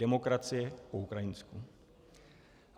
Demokracie po ukrajinsku.